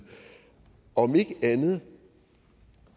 om ikke andet